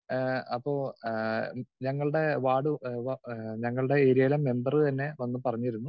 speaker 2 ഏഹ് അപ്പൊ ഏഹ് ഞങ്ങളുടെ വാർഡ് ഏഹ് ഏഹ് ഞങ്ങളുടെ ഏരിയയിലെ മെമ്പറ് തന്നെ വന്ന പറഞ്ഞിരുന്നു